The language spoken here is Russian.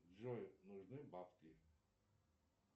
джой нужны бабки